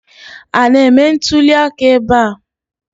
A na-eme ntụliaka ebe a